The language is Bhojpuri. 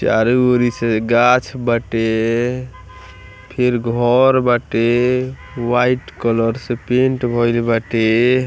चारों ओरी से गाछ बाटे फिर घर बाटे वाइट कलर से पेंट भईल बाटे।